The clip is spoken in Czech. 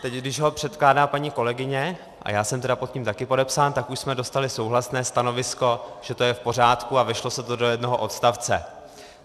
Teď když ho předkládá paní kolegyně, a já jsem tedy pod tím také podepsán, tak už jsme dostali souhlasné stanovisko, že to je v pořádku, a vešlo se to do jednoho odstavce.